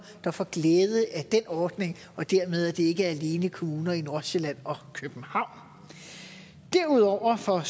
der får glæde af den ordning og at det dermed ikke alene er kommuner i nordsjælland og københavn derudover får